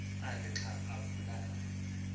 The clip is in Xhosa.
akhe xa avulayo